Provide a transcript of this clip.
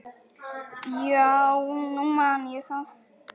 Já, nú man ég það.